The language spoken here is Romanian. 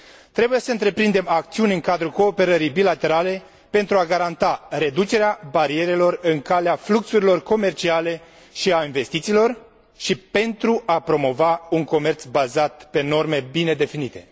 Trebuie să întreprindem acțiuni în cadrul cooperării bilaterale pentru a garanta reducerea barierelor în calea fluxurilor comerciale și a investițiilor și pentru a promova un comerț bazat pe norme bine definite.